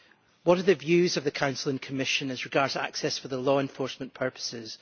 What are the views of the Council and Commission as regards access for law enforcement purposes?